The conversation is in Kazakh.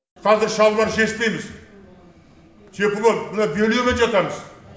қазір шалбар шешпейміз тепло мына бельемен жатамыз